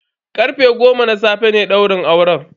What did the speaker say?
Karfe goma na safe ne daurin auren.